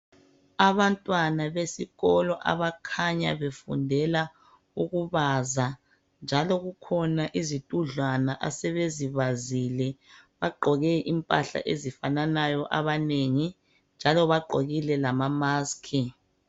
Abantwana besikolo abakhanya befundela ukubaza njalo kukhona izitudlwana asebezibazile bagqoke impahla ezifananayo abanengi njalo bagqokile lama mask.